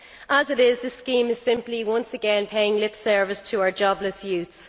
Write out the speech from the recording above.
As it is, the scheme is simply once again paying lip service to our jobless youths.